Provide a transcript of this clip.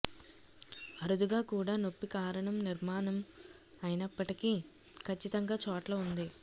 అరుదుగా కూడా నొప్పి కారణం నిర్మాణము అయినప్పటికీ ఖచ్చితంగా చోట్ల ఉంది